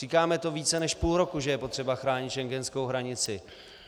Říkáme to více než půl roku, že je potřeba chránit schengenskou hranici.